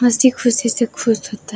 हसी खुशी से खुश होता है।